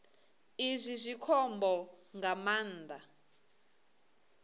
izwi zwi khombo nga maanḓa